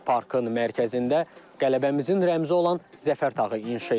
Parkın mərkəzində qələbəmizin rəmzi olan Zəfər tağı inşa edilir.